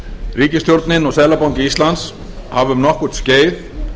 ríkisstjórnin og seðlabanki íslands hafa um nokkurt skeið